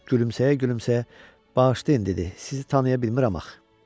Gülümsəyə-gülümsəyə: "Bağışlayın" dedi, "Sizi tanıya bilmirəm axı."